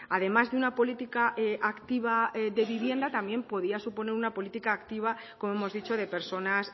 además de una política activa de vivienda también podía suponer una política activa como hemos dicho de personas